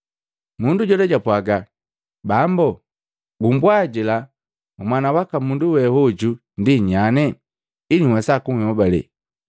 Mundu jola japwaga, “Bambo, gumbwajila Mwana waka Mundu we hoju ndi nyanye, ili wesa kunhobalela.”